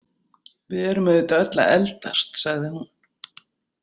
Við erum auðvitað öll að eldast, sagði hún.